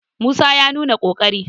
musa ya nuna ƙoƙari!